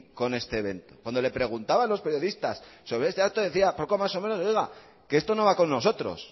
con este evento cuando le preguntaban los periodistas sobre este acto decía poco más o menos oiga que esto no va con nosotros